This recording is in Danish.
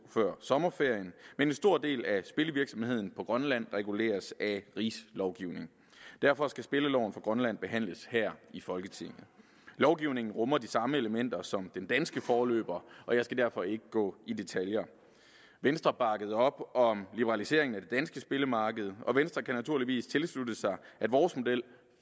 før sommerferien men en stor del af spillevirksomheden på grønland reguleres af rigslovgivningen derfor skal spilleloven for grønland behandles her i folketinget lovgivningen rummer de samme elementer som den danske forløber og jeg skal derfor ikke gå i detaljer venstre bakkede op om liberaliseringen af det danske spillemarked og venstre kan naturligvis tilslutte sig at vores model